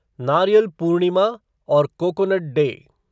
नारियल पूर्णिमा और coconut day